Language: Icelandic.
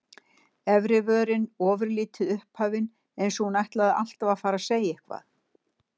Efri vörin ofurlítið upphafin, eins og þú ætlaðir alltaf að fara að segja eitthvað.